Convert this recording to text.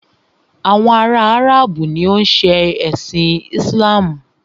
Àwọn ará Áràbù ni o ń ṣe ẹ̀sin Islamu.